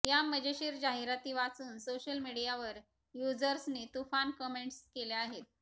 या मजेशीर जाहिराती वाचून सोशल मीडियावर युझर्सनी तुफान कमेंट्स केल्या आहेत